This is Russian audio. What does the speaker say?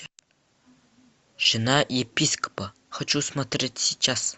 жена епископа хочу смотреть сейчас